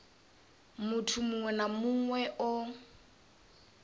muthu muṅwe na muṅwe o